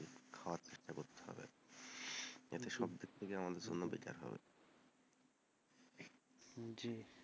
এটা সবদিক দিয়ে আমাদের জন্য better হবে জি,